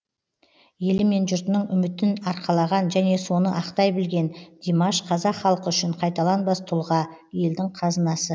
елді мен жұртының үмітін арқалаған және соны ақтай білген димаш қазақ халқы үшін қайталанбас тұлға елдің қазынасы